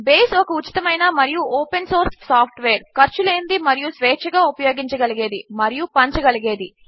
base ఒక ఉచితమైన మరియు ఓపెన్ సోర్స్ సాఫ్ట్వేర్ ఖర్చు లేనిది మరియు స్వేచ్చగా ఉపయోగించగలిగేది మరియు పంచగలిగేది